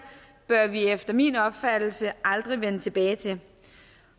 bør vi efter min opfattelse aldrig vende tilbage til